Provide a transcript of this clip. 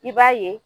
I b'a ye